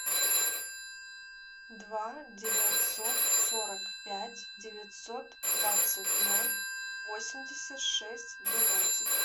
два девятьсот сорок пять девятьсот двадцать ноль восемьдесят шесть двенадцать